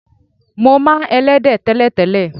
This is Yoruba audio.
Mo máa ń e̩lé̩dé̩ té̩lè̩té̩lè̩.